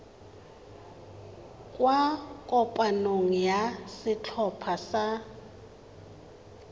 kwa kopanong ya setlhopha sa